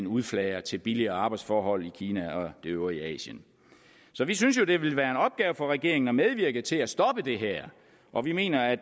udflager til billigere arbejdsforhold i kina og det øvrige asien så vi synes jo at det vil være en opgave for regeringen at medvirke til at stoppe det her og vi mener at